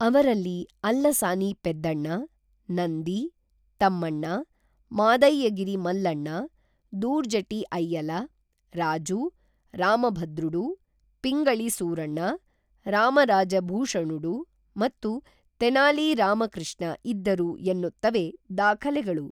ಅವರಲ್ಲಿ ಅಲ್ಲಸಾನಿ ಪೆದ್ದಣ್ಣ, ನಂದಿ, ತಮ್ಮಣ್ಣ, ಮಾದಯ್ಯಗಿರಿ ಮಲ್ಲಣ್ಣ, ದೂರ್ಜಟಿ ಅಯ್ಯಲ, ರಾಜು, ರಾಮಭದ್ರುಡು, ಪಿಂಗಳಿ ಸೂರಣ್ಣ, ರಾಮರಾಜ ಭೂಷಣುಡು ಮತ್ತು ತೆನಾಲಿ ರಾಮ ಕೃಷ್ಣ ಇದ್ದರು ಎನ್ನುತ್ತವೆ ದಾಖಲೆಗಳು